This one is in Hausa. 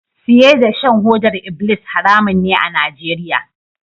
Siye da shan hodar ibilis haramun ne a Nigeria.